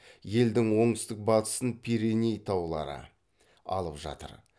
елдің оңтүстік батысын пиреней таулары алып жатыр